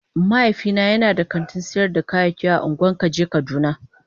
Mahaifina yana da kantin sayar da kayayyaki a ungwan kaje kaduna.